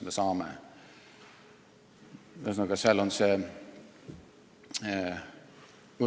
Ühesõnaga, seal on see ...